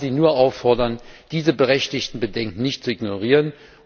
Ich kann Sie nur auffordern, diese berechtigten Bedenken nicht zu ignorieren.